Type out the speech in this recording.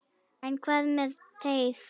En hvað með teið?